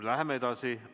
Läheme edasi.